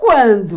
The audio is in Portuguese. Quando?